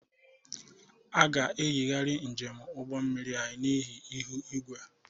A ga-eyigharị njem ụgbọ mmiri anyị n'ihi ihu igwe.